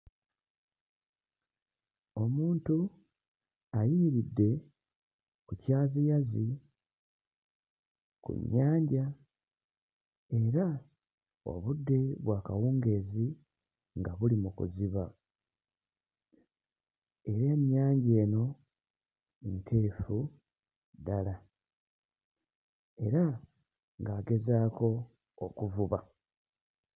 Omuntu ayimiridde ku kyaziyazi ku nnyanja era obudde bwa kawungeezi nga buli mu kuziba era ennyanja eno nteefu ddala era ng'agezaako okuvuba.